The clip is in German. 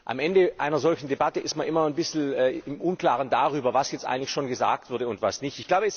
Am Ende einer solchen Debatte ist man immer ein bisschen im Unklaren darüber, was jetzt eigentlich schon gesagt wurde und was nicht.